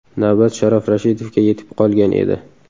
Navbat Sharof Rashidovga yetib qolgan edi.